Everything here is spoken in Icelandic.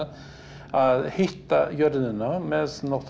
að hitta jörðina með